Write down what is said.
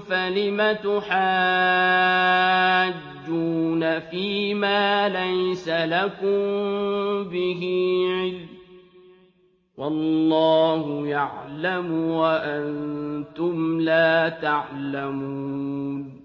فَلِمَ تُحَاجُّونَ فِيمَا لَيْسَ لَكُم بِهِ عِلْمٌ ۚ وَاللَّهُ يَعْلَمُ وَأَنتُمْ لَا تَعْلَمُونَ